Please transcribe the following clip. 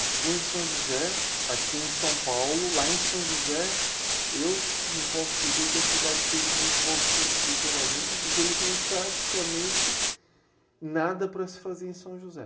Aqui em São José, aqui em São Paulo, lá em São José, eu não posso dizer que a cidade seja muito boa pto, culturalmente, porque não tem praticamente nada para se fazer em São José.